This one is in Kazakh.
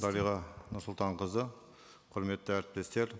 дариға нұрсұлтанқызы құрметті әріптестер